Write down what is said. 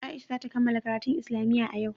Aisha za ta kammala karatun islamiyya a yau.